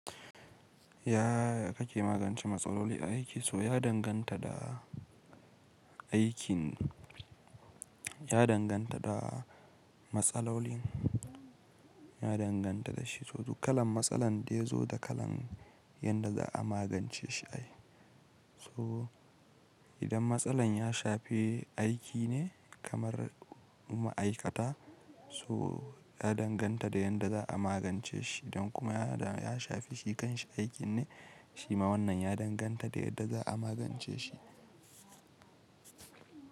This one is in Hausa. Ya kake magance matsaloli aiki? So ya danganta da aikin, ya danganta da matsalolin, ya danganta da shi. So duk kalan matsalan da ya zo da kalan yanda za'a magance shi ayi. So idan matsalan ya shafi aiki ne kamar ma'aikata, so ya danganta da yadda za a magance shi, idan kuma ya shafi shi kanshi aikin ne shima wannan ya danganta da yadda za a magance shi.